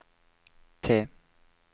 T